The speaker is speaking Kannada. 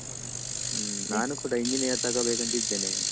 ಹ್ಮ್ ನಾನು ಕೂಡ engineer ತೊಗೋಬೇಕಂತ್ ಇದ್ದೇನೆ.